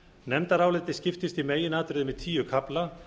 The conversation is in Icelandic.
nefndarálitið skiptist í meginatriðum í tíu kafla